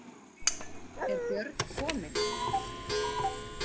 Er Björn kominn?